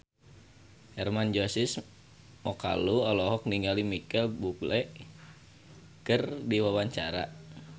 Hermann Josis Mokalu olohok ningali Micheal Bubble keur diwawancara